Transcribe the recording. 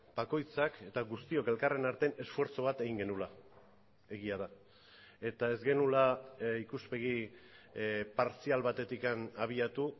bakoitzak eta guztiok elkarren artean esfortzu bat egin genuela egia da eta ez genuela ikuspegi partzial batetik abiatu